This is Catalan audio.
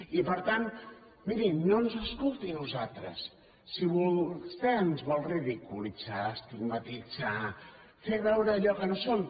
i per tant mirin no ens escolti a nosaltres si vostè ens vol ridiculitzar estigmatitzar fer veure allò que no som